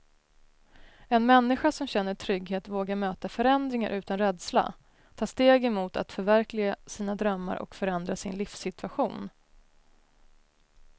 En människa som känner trygghet vågar möta förändringar utan rädsla, ta stegen mot att förverkliga sina drömmar och förändra sin livssituation.